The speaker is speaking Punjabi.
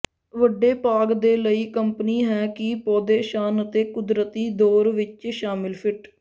ਵੱਡੇ ਬਾਗ ਦੇ ਲਈ ਕੰਪਨੀ ਹੈ ਕਿ ਪੌਦੇ ਸ਼ਾਨ ਅਤੇ ਕੁਦਰਤੀ ਦੌਰ ਵਿੱਚ ਸ਼ਾਮਿਲ ਫਿੱਟ